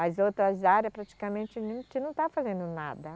As outras área praticamente a gente não está fazendo nada.